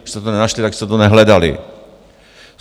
Když jste to nenašli, tak jste to nehledali.